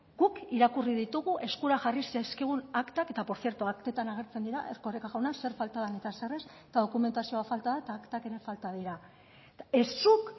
guk irakurri ditugu eskura jarri zaizkigun aktak eta por cierto aktetan agertzen dira erkoreka jauna zer falta den eta zer ez eta dokumentazio falta da eta aktak ere falta dira ez zuk